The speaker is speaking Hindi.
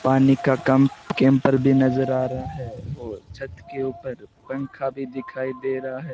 पानी का कंप कैंपर भी नजर आ रहा है और छत के ऊपर पंखा भी दिखाई दे रहा है।